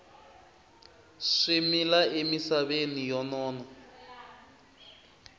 swi mila emisaveni yo nona